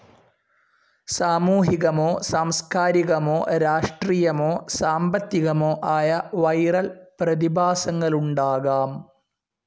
സാമൂഹികമോ സാംസ്ക്കാരികമോ രാഷ്ട്രീയമോ സാമ്പത്തികമോ ആയ വിരൽ പ്രതിഭാസങ്ങളുണ്ടാകാം.